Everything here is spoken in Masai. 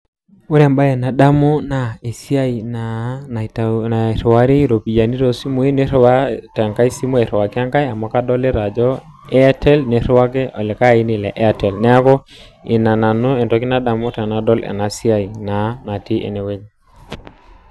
Ore ebae nadamu naa esiai naa nairiwari iropiyani too simui, niriwaa tenkae simu airiwaki enkae amu, kadolita ajo Airtel niriwaki likae aini le Airtel. Neaku ina nanu etoki nadamu tenadol ena siai naa, natii enewueji.